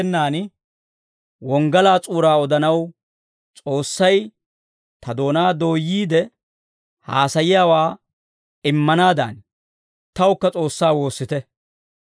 K'ay taani yayyenaan wonggalaa s'uuraa odanaw, S'oossay ta doonaa dooyyiide, haasayiyaawaa immanaadan, tawukka S'oossaa woossite.